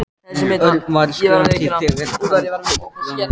Örn var skjálfhentur þegar hann tók bréfið úr.